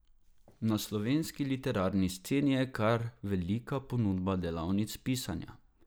Na slovenski literarni sceni je kar velika ponudba delavnic pisanja.